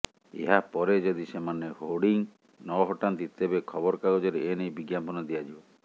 ଏହାପରେ ଯଦି ସେମାନେ ହୋର୍ଡିଂ ନ ହଟାନ୍ତି ତେବେ ଖବରକାଗଜରେ ଏନେଇ ବିଜ୍ଞାପନ ଦିଆଯିବ